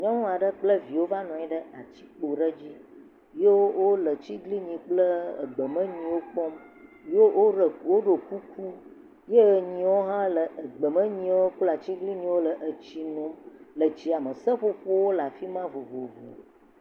Nyɔnu kple via wova nɔ anyi ɖe atikpo aɖe dzi ye wole tiglinyi kple gbemenuwo kpɔm. Ye woɖo kuku ye nyiwo hã le gbemenuwo kple atiglinyiwo le etsi num le tsia me. Seƒoƒowo le afi ma vovovo.